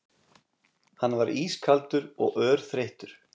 Hann var ískaldur og örþreyttur.